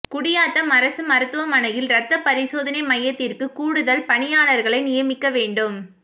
குடியாத்தம் அரசு மருத்துவமனையில் ரத்தப் பரிசோதனை மையத்திற்கு கூடுதல் பணியாளா்களை நியமிக்க வேண்டும்